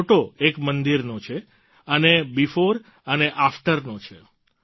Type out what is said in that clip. આ ફોટો એક મંદિરનો છે અને બેફોર અને આફ્ટર નો છે